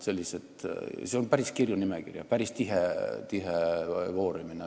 Ja see on päris kirju nimekiri, päris tihe voorimine.